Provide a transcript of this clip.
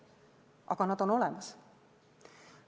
Aga need on olemas.